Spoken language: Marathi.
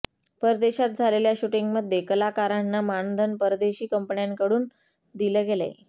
परदेशात झालले्या शुटिंगमध्ये कलाकारांना मानधन परदेशी कंपन्यांकडून दिलं गेलंय